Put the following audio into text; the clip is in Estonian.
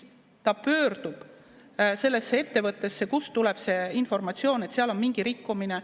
Ta pöördub sellesse ettevõttesse, kust tuleb see informatsioon, et seal on mingi rikkumine.